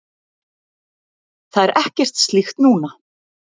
Það er ekkert slíkt núna.